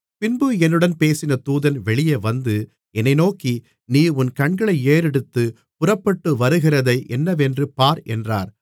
பின்பு என்னுடன் பேசின தூதன் வெளியே வந்து என்னை நோக்கி நீ உன் கண்களை ஏறெடுத்து புறப்பட்டு வருகிறதை என்னவென்று பார் என்றார்